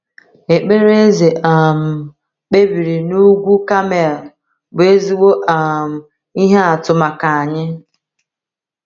Ekpere Eze um kpebiri n’ugwu Kamel bụ ezigbo um ihe atụ maka anyị.